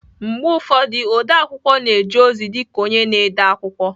Mgbe ụfọdụ, odeakwụkwọ na-eje ozi dị ka onye na-ede akwụkwọ